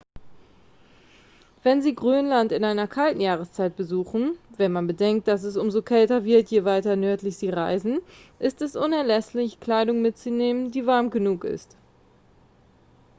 wenn sie grönland in einer kalten jahreszeit besuchen wenn man bedenkt dass es umso kälter wird je weiter nördlich sie reisen ist es unerlässlich kleidung mitzunehmen die warm genug ist